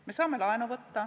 Me saame laenu võtta.